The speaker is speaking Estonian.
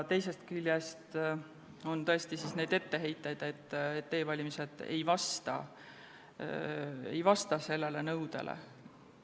Teisest küljest on tõesti etteheiteid, et e-valimised ei vasta sellele nõudele.